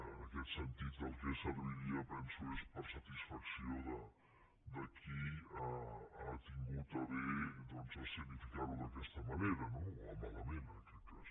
en aquest sentit del que serviria penso seria per a satisfacció de qui ha tingut a bé escenificar ho d’aquesta manera no o a malament en aquest cas